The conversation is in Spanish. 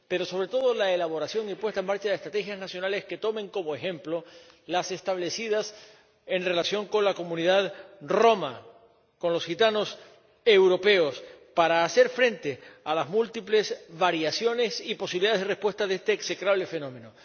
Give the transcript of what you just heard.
pero, sobre todo, la elaboración y puesta en marcha de estrategias nacionales que tomen como ejemplo las establecidas en relación con la comunidad romaní —con los gitanos europeos— para hacer frente a las múltiples variaciones y posibilidades de respuesta a este execrable fenómeno.